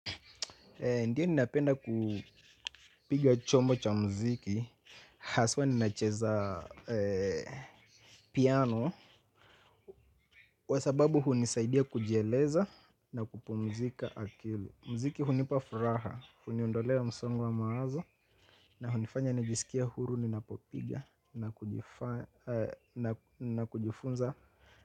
Ndiyo ninapenda kupiga chombo cha mziki. Haswa ninacheza piano, kwa sababu hunisaidia kujieleza na kupumzika akili. Mziki hunipa furaha, huniondolea msongo wa mawazo. Na hunifanya nijisikie huru ninapopiga na kujifunza.